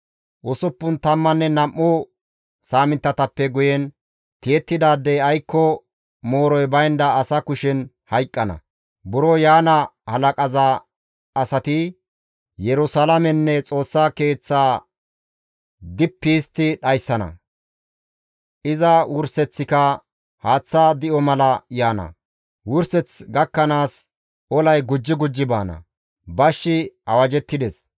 Usuppun tammanne nam7u saaminttatappe guyen tiyettidaadey aykko mooroy baynda asa kushen hayqqana; buro yaana halaqaza asati Yerusalaamenne Xoossa Keeththaa dippi histti dhayssana; iza wurseththika haaththa di7o mala yaana; wurseth gakkanaas olay gujji gujji baana; bashshi awajettides.